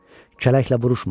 Kələklə vuruşmadım.